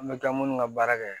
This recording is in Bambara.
An bɛ taa minnu ka baara kɛ